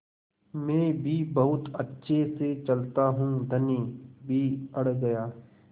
मैं भी बहुत अच्छे से चलता हूँ धनी भी अड़ गया